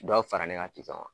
Dɔ b fara ne ka kan.